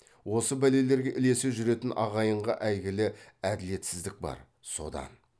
осы бәлелерге ілесе жүретін ағайынға әйгілі әділетсіздік бар содан